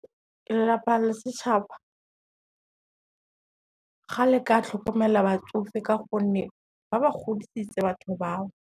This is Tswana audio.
Lelapa le setšhaba ga le ka tlhokomela batsofe ka gonne, ba ba godisitse batho bao.